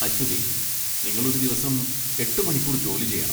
അശ്വതി, നിങ്ങൾ ഒരു ദിവസം എട്ട് മണിക്കൂർ ജോലി ചെയ്യണം.